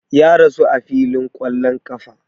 Ya rasu a filin ƙwallon ƙafa